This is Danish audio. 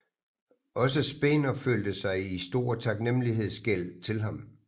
Også Spener følte sig i stor taknemmelighedsgæld til ham